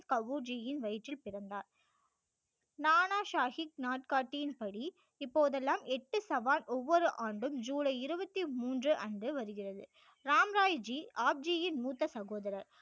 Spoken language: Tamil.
கவு ஜியின் வயிற்றில் பிறந்தார் நானா சாகிபின் நாட்காட்டியின் படி இப்போதெல்லாம் எட்டு சவால் ஒவ்வொரு ஆண்டும் ஜூலை இருபத்தி மூன்று அன்று வருகிறது ராம் ராய் ஜி ஆப் ஜி யின் மூத்த சகோதரர்